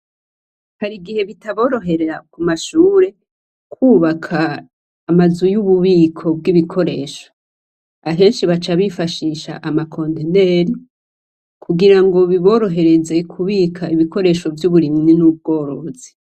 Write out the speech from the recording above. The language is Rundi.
Hari igihe bitaborohera Ku mashure kwubaka amazu y' ububiko bw' ibikoresho. Ahenshi baca bifashisha amakonteneri, kugirango biborohereze kubika ibikoresho vy' uburimyi n' ubworozi.